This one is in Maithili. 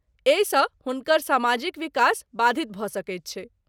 एहिसँ हुनकर समाजिक विकास बाधित भऽ सकैत छै।